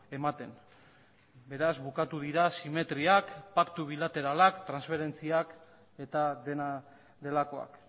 ematen beraz bukatu dira simetriak paktu bilateralak transferentziak eta dena delakoak